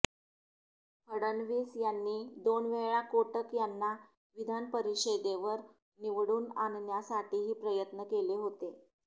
फडणवीस यांनी दोनवेळा कोटक यांना विधानपरिषदेवर निवडून आणण्यासाठीही प्रयत्न केले होते